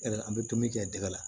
An bɛ dumuni kɛ tɛgɛ la